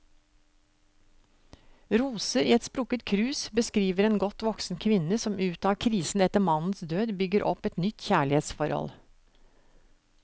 Roser i et sprukket krus beskriver en godt voksen kvinne som ut av krisen etter mannens død, bygger opp et nytt kjærlighetsforhold.